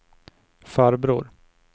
farbror